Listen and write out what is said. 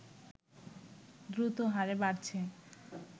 দ্রুত হারে বাড়ছে